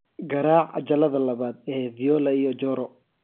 garaac cajaladda labaad ee viola iyo joro